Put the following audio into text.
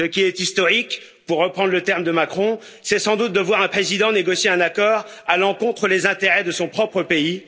Ce qui est historique, pour reprendre le terme de Macron, c'est sans doute de voir un président négocier un accord à l'encontre des intérêts de son propre pays.